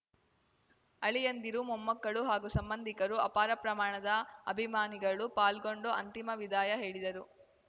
ಅಳಿಯಂದಿರು ಮೊಮ್ಮಕ್ಕಳು ಹಾಗೂ ಸಂಬಂಧಿಕರು ಅಪಾರ ಪ್ರಮಾಣದ ಅಭಿಮಾನಿಗಳು ಪಾಲ್ಗೊಂಡು ಅಂತಿಮ ವಿದಾಯ ಹೇಳಿದರು